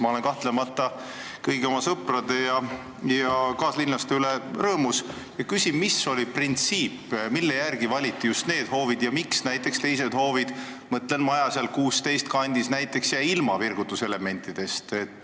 Ma olen kahtlemata kõigi oma sõprade ja kaaslinlaste üle rõõmus, aga küsin, mis printsiibi järgi valiti just need hoovid ja miks näiteks teised hoovid – mõtlen maju seal 16 kandis – jäid virgutuselementidest ilma.